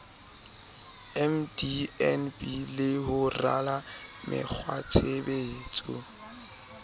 mdnb le ho rala mekgwatshebetso